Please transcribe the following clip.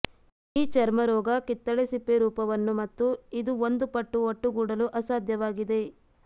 ಈ ಚರ್ಮ ರೋಗ ಕಿತ್ತಳೆ ಸಿಪ್ಪೆ ರೂಪವನ್ನು ಮತ್ತು ಇದು ಒಂದು ಪಟ್ಟು ಒಟ್ಟುಗೂಡಲು ಅಸಾಧ್ಯವಾಗಿದೆ